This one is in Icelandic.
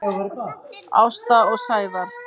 Ásta og Sævar.